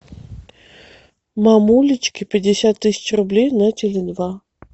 мамулечке пятьдесят тысяч рублей на теле два